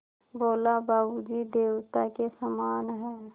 बोला बाबू जी देवता के समान हैं